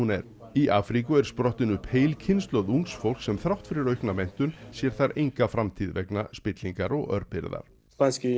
er í Afríku er sprottin upp heil kynslóð ungs fólks sem þrátt fyrir aukna menntun sér þar enga framtíð vegna spillingar og örbirgðar